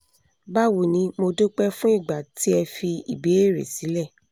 bawo ni mo dúpẹ́ fún ìgbà tí ẹ fi ìbéèrè sílẹ̀